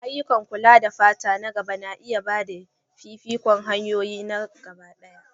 Ayyukan kula da fata na gaba na iya ba da fifikon hanyoyin gabaɗaya.